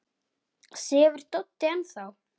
Sefur Doddi enn þá?